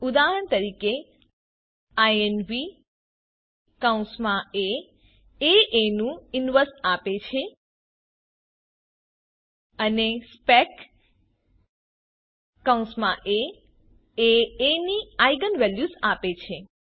ઉદાહરણ તરીકે ઇન્વ એ એ નું ઈનવર્સ આપે છે અનેspec એ એ ની આઇજેન વેલ્યુઝ આપે છે